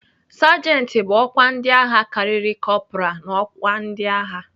Sajenti bụ ọkwa ndịagha karịrị kọpral n'ọkwa ndịagha..